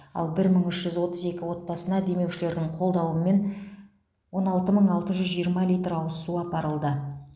ал бір мың үш жүз отыз екі отбасына демеушілердің қолдауымен он алты мың алты жүз жиырма литр ауыз су апарылды